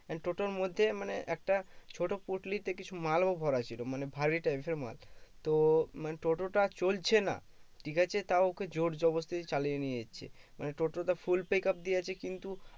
and টোটোর মধ্যে মানে একটা ছোট পটলি তে কিছু মাল ও ভরা ছিল মানে ভারি types এর মাল তো মানে টোটো টা চলছে না ঠিক আছে তও ওকে জোর জবরদস্তি চালিয়ে নিয়ে যাচ্ছে মানে টোটো তে full pick up দিয়েছে কিন্তু